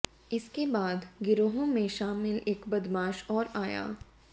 इसके बाद गिरोह में शामिल एक बदमाश और आया